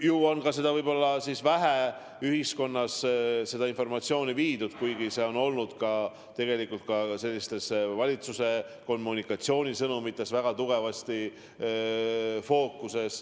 Ju on ühiskonnas seda informatsiooni vähe edasi antud, kuigi see on olnud tugevasti fookuses ka valitsuse kommunikatsioonisõnumites.